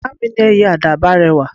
Ìyá mi ní Ẹyẹ Àdàbà rẹwà